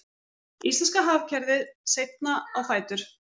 Íslenska hagkerfið seinna á fætur